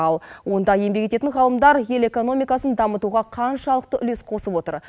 ал онда еңбек ететін ғалымдар ел экономикасын дамытуға қаншалықты үлес қосып отыр